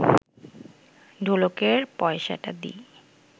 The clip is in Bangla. ঢোলকের পয়সাটা দি